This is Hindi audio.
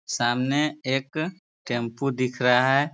सामने एक टेम्पो दिख रहा है।